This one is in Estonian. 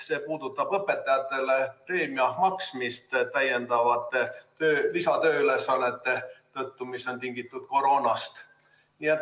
See puudutab õpetajatele preemia maksmist täiendavate tööülesannete tõttu, mis on tingitud koroonast.